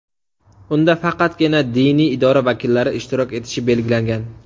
Unda faqatgina diniy idora vakillari ishtirok etishi belgilangan.